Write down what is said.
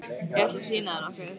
Ég ætla að sýna þér nokkuð.